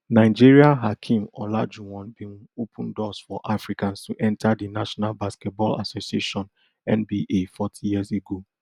nigeria hakeem olajuwon bin open doors for africans to enta di national basketball association nba forty years ago